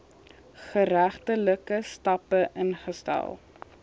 geregtelike stappe ingestel